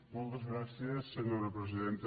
moltes gràcies senyora presidenta